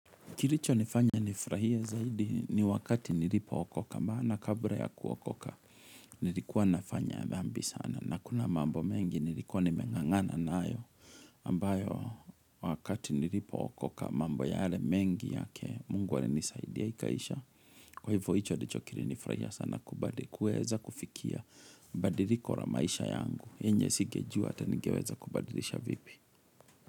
Kilicho nifanya nifurahie zaidi ni wakati nilipookoka maana kabla ya kuokoka nilikuwa nafanya dhambi sana na kuna mambo mengi nilikuwa nimeng'ang'ana nayo ambayo wakati nilipookoka mambo yale mengi yake, mungu alinisaidia ikaisha. Kwa hivyo hicho ndicho kilinifurahisha sana kuweza kufikia badiliko la maisha yangu. Yenye singejua ata ningeweza kubadilisha vipi.